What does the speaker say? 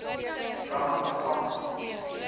ramatlakane